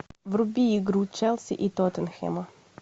вруби игру челси и тоттенхэма